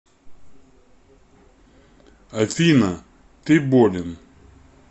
афина ты болен